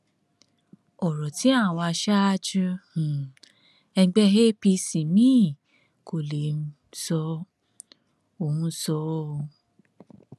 ọrọ tí àwọn aṣáájú um ẹgbẹ apc míín kò lè um sọ òun sọ ọ o